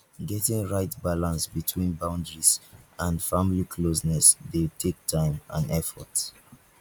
getting right balance between boundaries and family closeness dey take time and effort